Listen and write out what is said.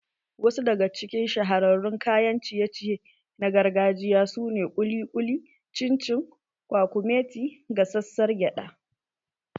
Wasu daga cikin shahararrun kayan ciye ciye na gargajiya su ne kuli kuli, chin chin, kwakumeti, gasassar gyada